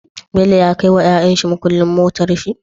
Bello ya kai wa yayan shi mukulin motar shi?